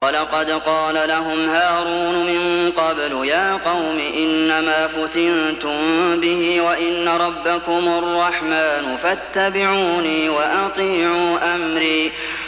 وَلَقَدْ قَالَ لَهُمْ هَارُونُ مِن قَبْلُ يَا قَوْمِ إِنَّمَا فُتِنتُم بِهِ ۖ وَإِنَّ رَبَّكُمُ الرَّحْمَٰنُ فَاتَّبِعُونِي وَأَطِيعُوا أَمْرِي